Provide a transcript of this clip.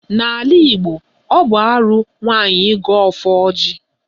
N'ala Igbo, ọ bụ arụ nwaanyị ịgọ ọfọ ọjị